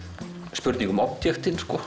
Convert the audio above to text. spurning um